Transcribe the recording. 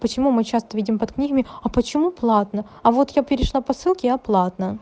почему мы часто видим под книгами а почему платно а вот я перешла по ссылке и оплата